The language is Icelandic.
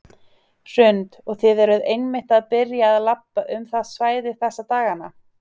Hrund: Og þið eruð einmitt að byrja að labba um það svæði þessa dagana?